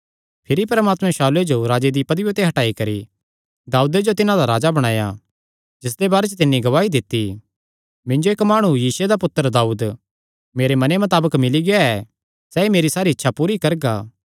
भिरी परमात्मे शाऊले जो राजे दी पदविया ते हटाई करी दाऊदे जो तिन्हां दा राजा बणाया जिसदे बारे च तिन्नी गवाही दित्ती मिन्जो इक्क माणु यिशै दा पुत्तर दाऊद मेरे मने मताबक मिल्ली गेआ ऐ सैह़ ई मेरी सारी इच्छा पूरी करगा